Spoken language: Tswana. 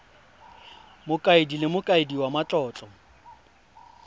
mokaedi le mokaedi wa matlotlo